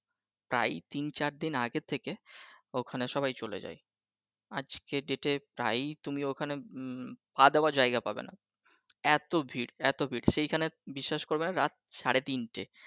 প্রায় তিন চারদিন আগে থেকে ঐখানে সবাই চলে যায়। আজকের Date এ তাই তুমি ঐখানে উম পা দেওয়ার জায়গা পাবে না । এতো ভিড় এতো ভিড় সেখানে বিশ্বাস করবেনা সেখানে রাত সাড়ে তিনটে